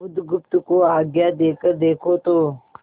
बुधगुप्त को आज्ञा देकर देखो तो